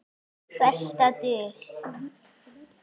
Besta dul